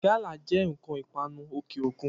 Gálà jẹ́ ǹkan ìpanu òkè òkun